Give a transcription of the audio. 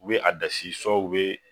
U bɛ a dasi u bɛ